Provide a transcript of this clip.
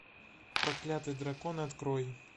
проклятый дракон открой